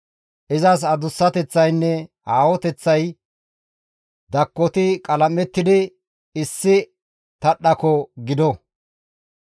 Izas adussateththaynne aahoteththay dakkoti qalam7ettidi issi tadhdhako gido.